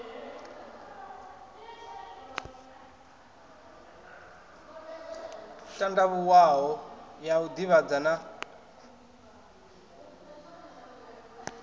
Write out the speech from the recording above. tandavhuwaho ya u divhadza na